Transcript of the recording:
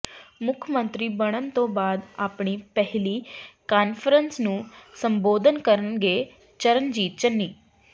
ਮੁੱਖ ਮੰਤਰੀ ਬਣਨ ਤੋਂ ਬਾਅਦ ਆਪਣੀ ਪਹਿਲੀ ਕਾਨਫਰੰਸ ਨੂੰ ਸੰਬੋਧਨ ਕਰਨਗੇ ਚਰਨਜੀਤ ਚੰਨੀ